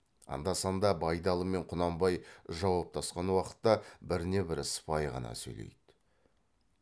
анда санда байдалы мен құнанбай жауаптасқан уақытта біріне бірі сыпайы ғана сөйлейді